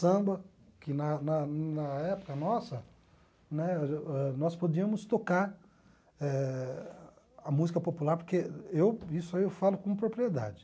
Samba, que na na na época nossa, né nós podíamos tocar eh a música popular, porque eu isso aí eu falo com propriedade.